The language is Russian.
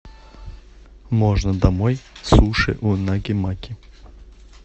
можно домой суши унаги маки